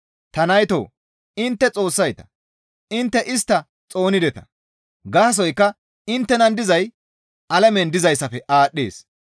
Ta naytoo! Intte Xoossayta; Intte istta xoonideta; gaasoykka inttenan dizay alamen dizayssafe aadhdhees.